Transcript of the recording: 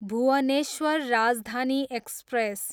Bhubaneswar Rajdhani express